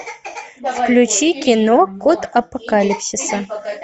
включи кино код апокалипсиса